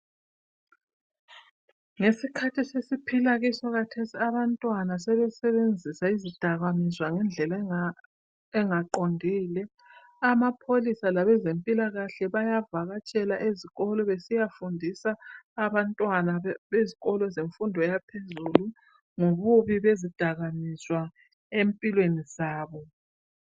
Ngesikhathi esesiphila kiso khathesi abantwana sebesebenzisa izidakamezwa ngendlela engaqondile Amapholisa labezempilakahle bayavakatshela ezikolo besiyafundisa abantwana bezikolo zemfundo yaphezulu ngobubi bezidakamezwa empilweni zabo